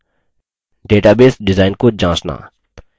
9 database design को जाँचना